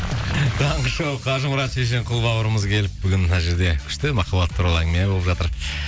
таңғы шоу қажымұрат шешенқұл бауырымыз келіп бүгін мына жерде күшті махаббат туралы әңгіме болып жатыр